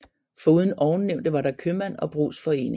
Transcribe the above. Foruden ovennævnte var der købmand og brugsforening